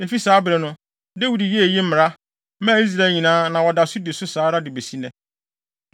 Efi saa bere no, Dawid yɛɛ eyi mmara, maa Israel nyinaa na wɔda so di so saa ara de besi nnɛ.